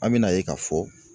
An bɛ n'a ye k'a fɔ